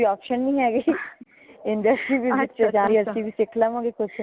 ਕੋਈ option ਨੀ ਹੈਗੇ industry visit ਤੇ ਜਾ ਕੇ ਅਸੀਂ ਵੀ ਸਿੱਖ ਲਵਾਂਗੇ ਕੁਛ